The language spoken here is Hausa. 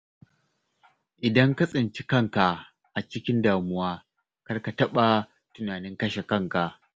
Idan ka tsinci kanka a cikin damuwa, kar ka taɓa tunanin kashe kanka.